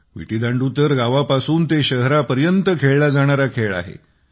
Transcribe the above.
विटीदांडू तर गावापासून ते शहरापर्यंत खेळला जाणारा खेळ आहे